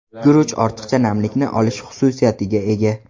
Guruch ortiqcha namlikni olish xususiyatiga ega.